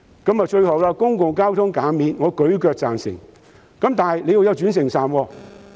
最後，對於公共交通費減免，我十分贊成，但必須有轉乘站。